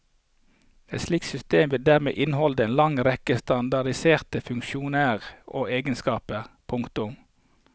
Et slikt system vil dermed inneholde en lang rekke standardiserte funksjoner og egenskaper. punktum